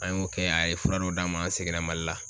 An y'o kɛ ,a ye fura dɔw d'an ma an seginna Mli la.